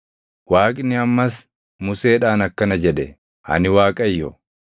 Waaqni ammas Museedhaan akkana jedhe; “Ani Waaqayyo.